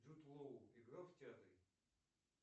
джуд лоу играл в театре